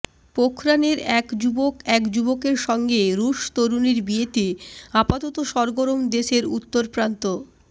পোখরাণের এক যুবক এক যুবকের সঙ্গে রুশ তরুণীর বিয়েতে আপাতত সরগরম দেশের উত্তরপ্রান্ত